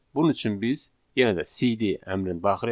Bunun üçün biz yenə də CD əmrini daxil edirik.